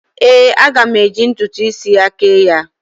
Ee, aga m eji ntụtụ isi ya kee ya.